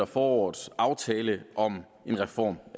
forårets aftale om en reform